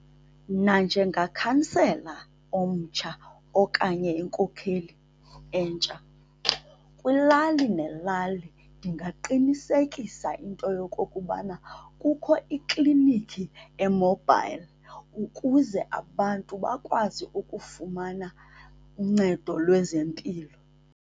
Mna njengakhansela omtsha okanye inkokheli entsha, kwilali nelali ndingaqinisekisa into yokokubana kukho ikliniki e-mobile ukuze abantu bakwazi ukufumana uncedo lwezempilo.